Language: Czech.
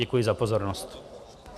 Děkuji za pozornost.